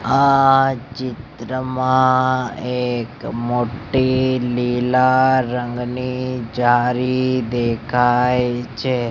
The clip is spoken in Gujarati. આ ચિત્રમાં એક મોટી લીલા રંગની જારી દેખાય છે.